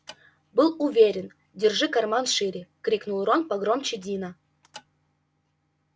был уверен держи карман шире крикнул рон погромче дина